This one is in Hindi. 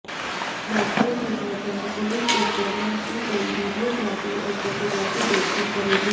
बाकियों की पहचान पुलिस इस दौरान की गई वीडियोग्राफी और फोटोग्राफी देखकर करेगी